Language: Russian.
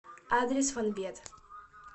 адрес фонбет